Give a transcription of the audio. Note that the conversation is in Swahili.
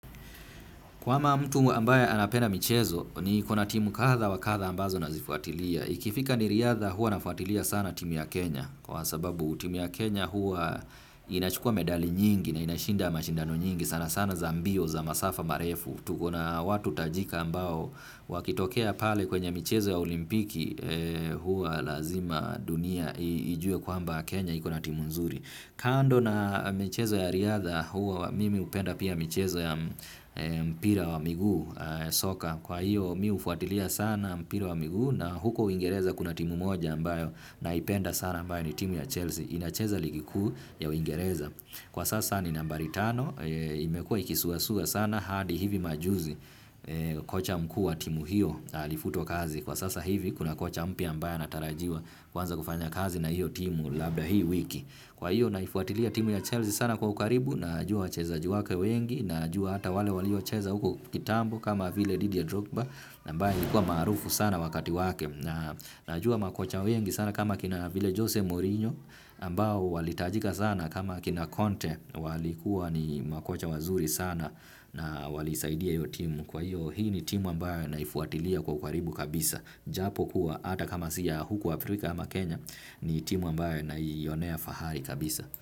Kwama mtu ambaye anapenda michezo, niko na timu kadha wa kadha ambazo nazifuatilia. Ikifika ni riadha huwa nafuatilia sana timu ya Kenya. Kwa sababu timu ya Kenya hua inachukua medali nyingi na inashinda mashindano nyingi. Sana sana za mbio, za masafa, marefu. Tuko na watu tajika ambao wakitokea pale kwenye michezo ya olimpiki hua lazima dunia ijue kwamba Kenya iko na timu nzuri. Kando na michezo ya riadha huwa mimi upenda pia michezo ya mpira wa miguu soka kwa hiyo mi ufuatilia sana mpira wa miguu na huko uingereza kuna timu moja ambayo naipenda sana ambayo ni timu ya Chelsea inacheza ligi kuu ya uingereza. Kwa sasa ni nambari tano, imekua ikisuasua sana hadi hivi majuzi kocha mkuu wa timu hiyo na alifutwa kazi. Kwa sasa hivi kuna kocha mpya ambaye anatarajiwa kuanza kufanya kazi na hiyo timu labda hii wiki. Kwa hiyo naifuatilia timu ya Chelsea sana kwa ukaribu najua wachezaji wake wengi najua hata wale waliocheza huko kitambo kama vile Didier Drogba na ambae alikuwa maarufu sana wakati wake na najua makocha wengi sana kama kina vile Jose Morinho ambao walitajika sana kama kina Conte walikuwa ni makocha wazuri sana na walisaidia hio timu kwa hiyo hii ni timu ambayo naifuatilia kwa ukaribu kabisa. Japokuwa ata kama si ya huku Afrika ama Kenya ni timu ambayo naionea fahari kabisa.